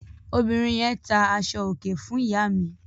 Obìnrin yẹn tá aṣọòkè fún ìyá mi.